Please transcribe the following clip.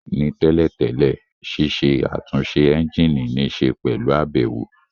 Ní tẹ́lẹ̀ tẹ́lẹ̀, ṣiṣẹ́ àtúnṣe ẹ́ńjìnì níṣe pẹ̀lú àbẹ̀wò